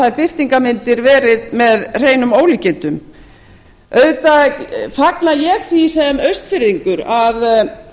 þær birtingarmyndir verið með hreinum ólíkindum auðvitað fagna ég því sem austfirðingur að